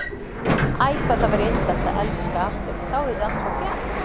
Æ, hvað það væri indælt að elska aftur, þá yrði allt svo bjart.